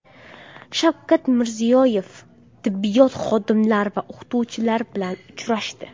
Shavkat Mirziyoyev tibbiyot xodimlari va o‘qituvchilar bilan uchrashdi.